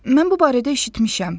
Mən bu barədə eşitmişəm.